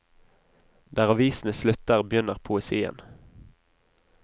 Der avisene slutter, begynner poesien.